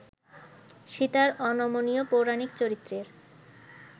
সীতার অনমনীয় পৌরাণিক চরিত্রের